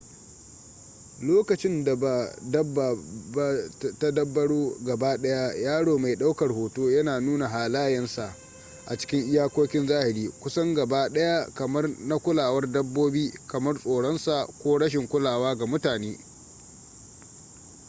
lokacin da ba dabba ba ta dabbaro gabaɗaya yaro mai ɗaukar hoto yana nuna halayensa a cikin iyakokin zahiri kusan gaba daya kamar na kulawar-dabbobi kamar tsoron sa ko rashin kulawa ga mutane